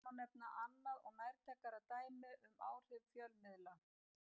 Einnig má nefna annað og nærtækara dæmi um áhrif fjölmiðla.